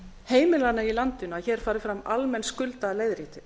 heimilanna í landinu að hér fari fram almenn skuldaleiðrétting